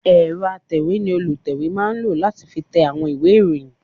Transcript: Ẹ̀rọ atẹ̀wé ni olùtẹ̀wé máa ń lò láti fi tẹ àwọn ìwé ìròyìn